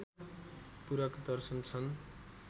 पूरक दर्शन छन्